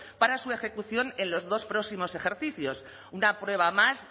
para su ejecución en los dos próximos ejercicios una prueba más